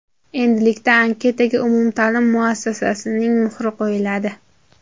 Endilikda anketaga umumta’lim muassasasining muhri qo‘yiladi.